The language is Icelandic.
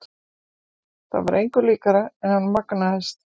En það var engu líkara en hann magnaðist.